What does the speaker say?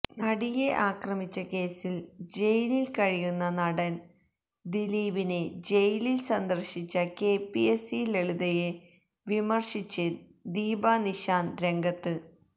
നടിയെ ആക്രമിച്ച കേസില് ജയിലില് കഴിയുന്ന നടന് ദിലീപിനെ ജയിലില് സന്ദര്ശിച്ച കെപിഎസി ലളിതയെ വിമര്ശിച്ച് ദീപാ നിശാന്ത് രംഗത്ത്